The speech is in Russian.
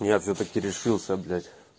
я всё таки решился блять